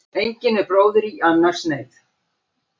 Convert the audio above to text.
Engin er bróðir í annars neyð.